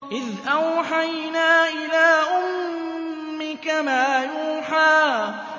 إِذْ أَوْحَيْنَا إِلَىٰ أُمِّكَ مَا يُوحَىٰ